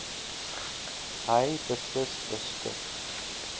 hy beslis beskik